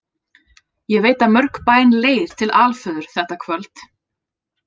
Ég veit að mörg bæn leið til Alföður þetta kvöld.